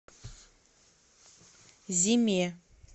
зиме